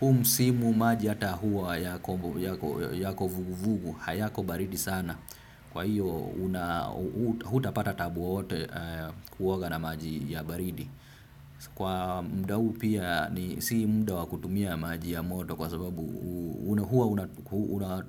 huu msimu maji hata huwa yako vuguvugu hayako baridi sana. Kwa hiyo hutapata taabu wowote kuoga na maji ya baridi. Kwa muda huu pia ni si muda wa kutumia maji ya moto. Kwa sababu huwa